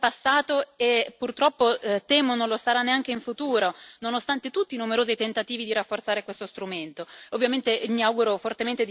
Non lo riusciamo a vedere perché non lo è stato in passato e purtroppo temo non lo sarà neanche in futuro, nonostante tutti i numerosi tentativi di rafforzare questo strumento.